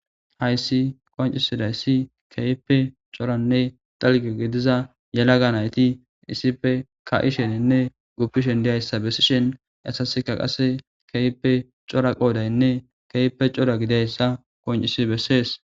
Hays qoncisidays keehippe coranne dalga gidiza nayt issippe ka'isheinne gupishn diyaysa besishn hesasika qase keehippe cora qodayinne keehippe cora gididaysa qoncis beses.